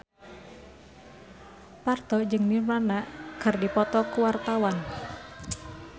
Parto jeung Nirvana keur dipoto ku wartawan